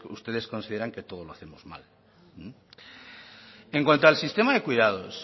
ustedes consideran que todo lo hacemos mal en cuanto al sistema de cuidados